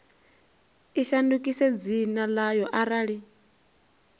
i shandukise dzina ḽayo arali